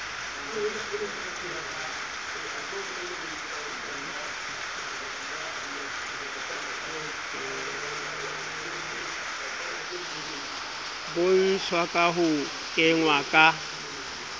bontshwa ka ho kengwa ka